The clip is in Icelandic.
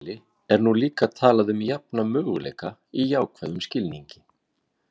Í auknum mæli er nú líka talað um jafna möguleika í jákvæðum skilningi.